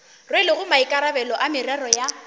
rwelego maikarabelo a merero ya